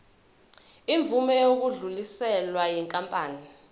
imvume yokudluliselwa yinkampani